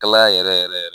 Kalaya yɛrɛ yɛrɛ